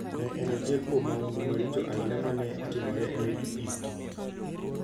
Ne en achiel kuom mahundu maricho ahinya ma ne otimore e Middle East.